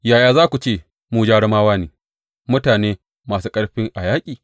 Yaya za ku ce, Mu jarumawa ne, mutane masu ƙarfi a yaƙi?’